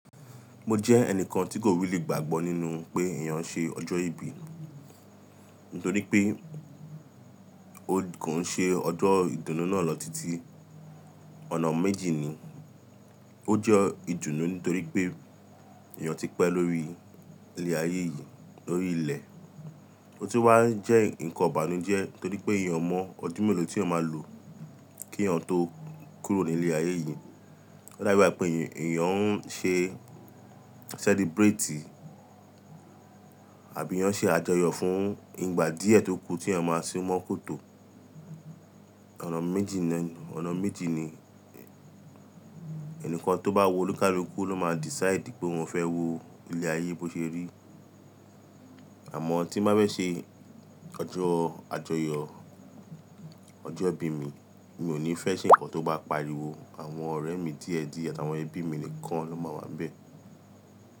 Mo jẹ́ ẹnìkan tí kò really gbàgbọ́ nínú pé èèyàn ṣe ọjọ́ ìbí, nítorí pé ó kò ṣe ọjọ́ ìdùnnú náà lọ títí. Ọ̀nà méjì ni, ó jẹ́ ìdùnnú nítorí pé èèyàn ti pẹ́ lórí ilẹ ayé yìí, lórí ilẹ̀. Ó sì wá jẹ́ nǹkan ìbànújẹ́ nítorí pé èèyàn o mọ̀ ọdún mélòó tí èèyàn máa lò kí èèyàn tó kúrò ní ilé ayé yìí. O dabi igbà pé èèyàn ń ṣe celebrate àbí èèyàn ṣe àjọyọ̀ fún ìgbà díẹ̀ tó kù tí èèyàn máa sunmọ́ kòtò. Ọ̀nà méjì ni, ẹnìkan tó bá wu olúkàlùkù ló máa decide pé òun fẹ́ wo ilé ayé bó ṣe rí. Àmọ́ tí n bá fẹ ṣe ọjọ́ àjọyọ̀, ọjọ́ ìbí mi, mi ò ní fẹ́ ṣe ǹkan tó bá pariwo àwọn ọ̀rẹ́ mi díẹ̀díẹ̀ àtàwọn ẹbí mi nìkan ló máa wà n bẹ̀.